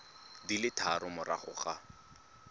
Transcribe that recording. di le tharo morago ga